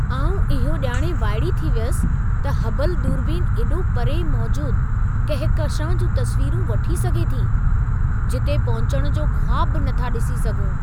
आउं इहो ॼाणे वाइड़ी थी वियसि त हबलु दूरबीन एॾो परे मौजूद कहकशां जूं तस्वीरूं वठी सघे थी, जिते पहुचण जो ख़्वाबु बि नथा ॾिसी सघूं।